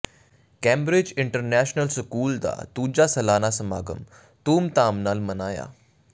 Cambridge international school ਦਾ ਦੂਜਾ ਸਾਲਾਨਾ ਸਮਾਗਮ ਧੂਮਧਾਮ ਨਾਲ ਮਨਾਇਆ